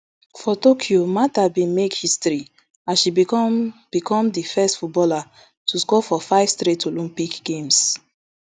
for tokyo martha bin make history as she become become di first footballer to score for five straight olympic games